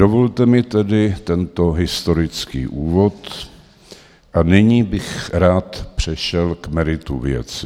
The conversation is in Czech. Dovolte mi tedy tento historický úvod a nyní bych rád přešel k meritu věci.